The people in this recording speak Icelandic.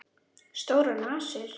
Stórar nasir.